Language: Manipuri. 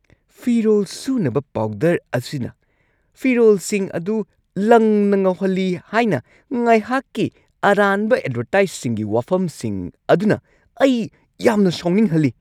ꯐꯤꯔꯣꯜ ꯁꯨꯅꯕ ꯄꯥꯎꯗꯔ ꯑꯁꯤꯅ ꯐꯤꯔꯣꯜꯁꯤꯡ ꯑꯗꯨ ꯂꯪꯅ ꯉꯧꯍꯜꯂꯤ ꯍꯥꯏꯅ ꯉꯥꯢꯍꯥꯛꯀꯤ ꯑꯔꯥꯟꯕ ꯑꯦꯗꯚꯔꯇꯥꯢꯁꯁꯤꯡꯒꯤ ꯋꯥꯐꯝꯁꯤꯡ ꯑꯗꯨꯅ ꯑꯩ ꯌꯥꯝꯅ ꯁꯥꯎꯅꯤꯡꯍꯜꯂꯤ꯫